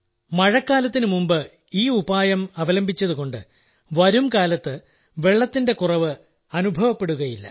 മഴക്കാലത്തിനു മുമ്പ് ഈ ഉപായം അവലംബിച്ചതുകൊണ്ട് വരുംകാലത്ത് വെള്ളത്തിന്റെ കുറവ് അനുഭവപ്പെടുകയില്ല